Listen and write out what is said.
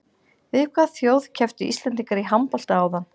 Við hvaða þjóð kepptu Íslendingar í handbolta áðan?